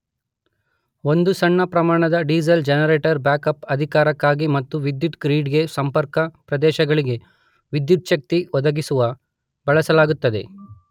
ಒಂದು ಸಣ್ಣ ಪ್ರಮಾಣದ ಡೀಸಲ್ ಜನರೇಟರ್ ಬ್ಯಾಕ್ಅಪ್ ಅಧಿಕಾರಕ್ಕಾಗಿ ಮತ್ತು ವಿದ್ಯುತ್ ಗ್ರಿಡ್ ಗೆ ಸಂಪರ್ಕ ಪ್ರದೇಶಗಳಿಗೆ ವಿದ್ಯುಚ್ಛಕ್ತಿ ಒದಗಿಸುವ ಬಳಸಲಾಗುತ್ತದೆ.